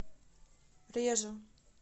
режу